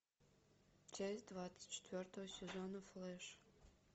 часть двадцать четвертого сезона флэш